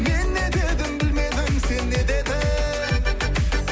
мен не дедім білмедім сен не дедің